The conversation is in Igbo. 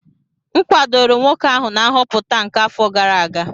M kwadoro nwoke ahụ na nhọpụta nke afọ gara aga